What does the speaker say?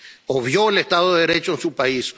Obvió el estado de Derecho en su país.